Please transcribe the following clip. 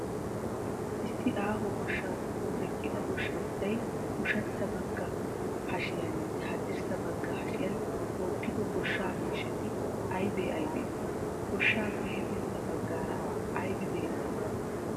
Issi aaho goshshaa giddon eqqida goshshanchchay ushachcha bagga hashiyaaninne haddirssa bagga hashiyan tookkido goshsha miishshati aybee aybee? Gooshsaappe hefintta baggaara aybi beettii?